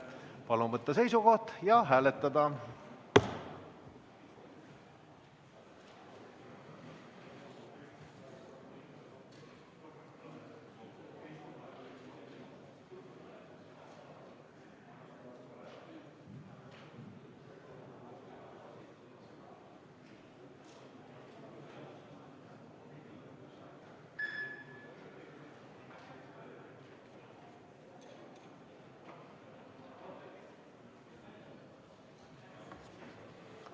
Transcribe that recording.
Palun võtta seisukoht ja hääletada!